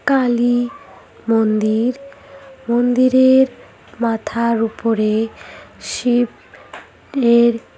কালি মন্দির মন্দিরের মাথার উপরে শিব লের--